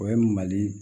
O ye mali